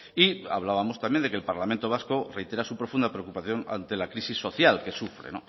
y hablábamos también de que el parlamento vasco reitera su profunda preocupación ante la crisis social que sufre